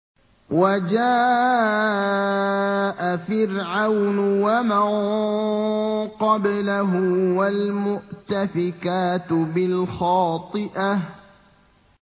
وَجَاءَ فِرْعَوْنُ وَمَن قَبْلَهُ وَالْمُؤْتَفِكَاتُ بِالْخَاطِئَةِ